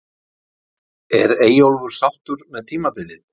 Er Eyjólfur sáttur með tímabilið?